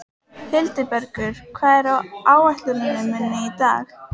Hildibergur, hvað er á áætluninni minni í dag?